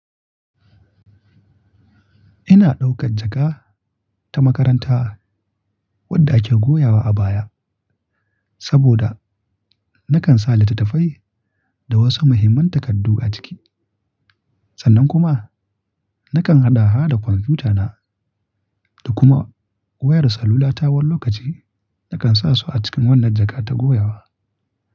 Ina ɗaukar jaka ta makaranta wadda ake goyawa a baya saboda nakan sa litattafai da wasu muhimman takardu a ciki. Sannan kuma nakan haɗa ha da kwamfutana da kuma wayar salulata wani lokaci nakan sa su a cikin wannan jaka ta goyawa.